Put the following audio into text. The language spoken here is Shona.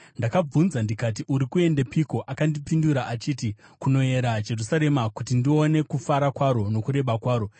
Ndakabvunza ndikati, “Uri kuendepiko?” Akandipindura achiti, “Kunoyera Jerusarema, kuti ndione kufara kwaro nokureba kwaro.”